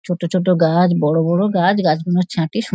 ছোটো ছোটো গাছ বড় বড় গাছ গাছগুলো ছাঁটে সুন --